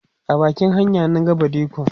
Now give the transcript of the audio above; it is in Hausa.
a bakin hanya na ga badikon